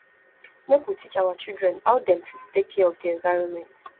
make we teach our children how dem fit take care of di environment